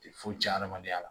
Tɛ foyi tiɲɛ adamadenya la